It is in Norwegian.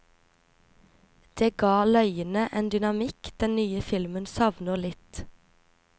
Det ga løyene en dynamikk den nye filmen savner litt.